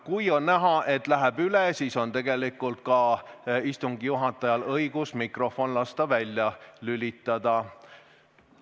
Kui on näha, et aeg läheb üle, siis on istungi juhatajal õigus mikrofon lasta välja lülitada.